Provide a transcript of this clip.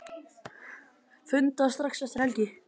Funda strax eftir helgi